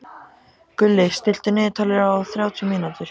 Gulli, stilltu niðurteljara á þrjátíu mínútur.